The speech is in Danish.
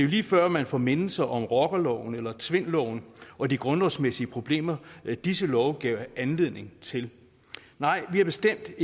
lige før man får mindelser om rockerloven eller tvindloven og de grundlovsmæssige problemer disse love gav anledning til nej vi er bestemt